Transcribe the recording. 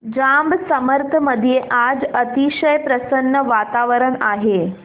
जांब समर्थ मध्ये आज अतिशय प्रसन्न वातावरण आहे